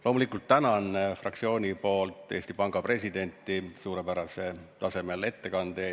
Loomulikult tänan fraktsiooni nimel Eesti Panga presidenti suurepärasel tasemel ettekande eest.